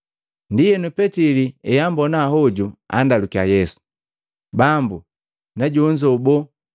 Ndienu, Petili eambona hoju, andalukiya Yesu, “Bambu, na jonzo boo?”